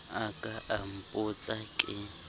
a ka a mpotsa ke